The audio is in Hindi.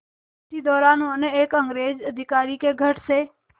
इसी दौरान उन्हें एक अंग्रेज़ अधिकारी के घर से